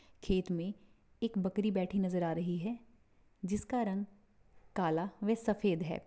खेत मैं एक बकरी बैठी नजर आ रही है जिसका रंग काला वे सफेद है।